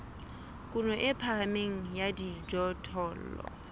kuno e phahameng ya dijothollo